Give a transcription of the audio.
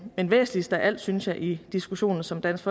væsentligst af alt synes jeg i diskussionen som dansk